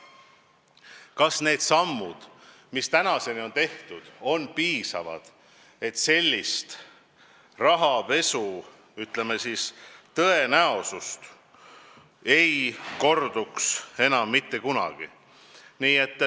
Kas need sammud, mis tänaseni on tehtud, on piisavad, et sellise rahapesu tõenäosus ei kordu enam mitte kunagi?